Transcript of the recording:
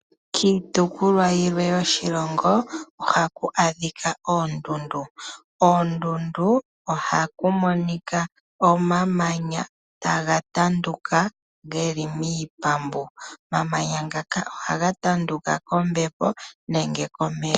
Kiitopolwa yiwe yoshilongo ohaku adhika oondundu. Koondundu ohaku monika omamanya taga tanduka geli miipambu, omamanya ngaka ohaga tanduka kombepo nenge komeya.